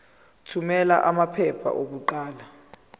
thumela amaphepha okuqala